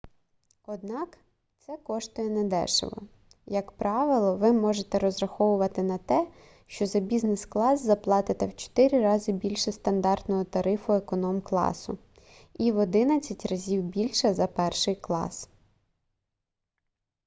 однак це коштує недешево як правило ви можете розраховувати на те що за бізнес-клас заплатите в 4 рази більше стандартного тарифу економкласу і в одинадцять разів більше за перший клас